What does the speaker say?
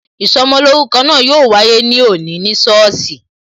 Ìsọmolórúkọ náà yo wáyé ní òní ní sọ́ọ̀sì